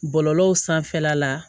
Bɔlɔlɔw sanfɛla la